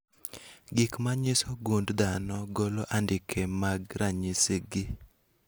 Gigo manyiso gund dhano golo andike mag ranyisi gi